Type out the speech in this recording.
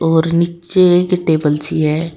और नीचे एक टेबल सी है।